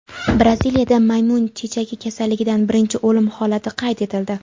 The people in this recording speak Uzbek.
Braziliyada maymun chechagi kasalligidan birinchi o‘lim holati qayd etildi.